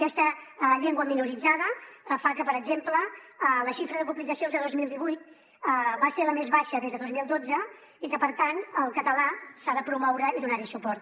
aquesta llengua minoritzada fa que per exemple la xifra de publicacions a dos mil divuit va ser la més baixa des de dos mil dotze i que per tant el català s’ha de promoure i donar hi suport